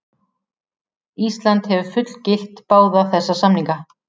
Ísland hefur fullgilt báða þessa samninga.